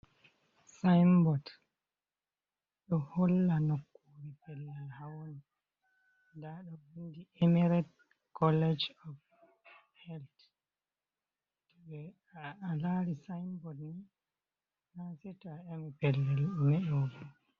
Sinbod ɗo holla nokure pellel hawoni nda ɗo vindi emirate college of health to ɓe a lari sinbod ni na saito a'emi pellel ɗime ɗo ba.